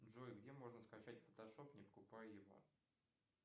джой где можно скачать фотошоп не покупая его